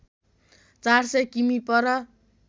४०० किमि पर